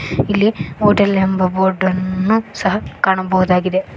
ಇಲ್ಲಿ ಹೋಟೆಲ್ ಎಂಬ ಬೋರ್ಡನ್ನು ಸಹ ಕಾಣಬಹುದಾಗಿದೆ.